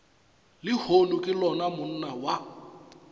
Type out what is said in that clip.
lehono ke lona monna wa